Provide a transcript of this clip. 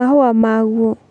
mahũa maguo